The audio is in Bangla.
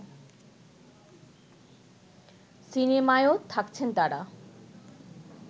সিনেমায়ও থাকছেন তারা